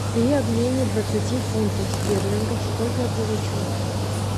при обмене двадцати фунтов стерлингов сколько я получу